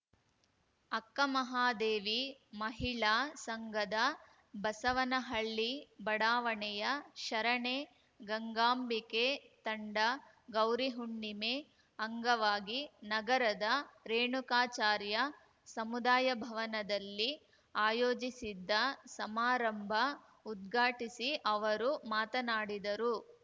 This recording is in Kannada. ಅಕ್ಕಮಹಾದೇವಿ ಮಹಿಳಾ ಸಂಘದ ಬಸವನಹಳ್ಳಿ ಬಡಾವಣೆಯ ಶರಣೆ ಗಂಗಾಂಬಿಕೆ ತಂಡ ಗೌರಿಹುಣ್ಣಿಮೆ ಅಂಗವಾಗಿ ನಗರದ ರೇಣುಕಾಚಾರ್ಯ ಸಮುದಾಯ ಭವನದಲ್ಲಿ ಆಯೋಜಿಸಿದ್ದ ಸಮಾರಂಭ ಉದ್ಘಾಟಿಸಿ ಅವರು ಮಾತನಾಡಿದರು